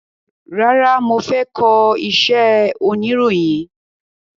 Rárá, mo fẹ́ kọ iṣẹ́ oniroyin.